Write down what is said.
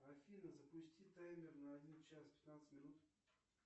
афина запусти таймер на один час пятнадцать минут